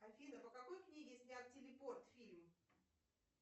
афина по какой книге снят телепорт фильм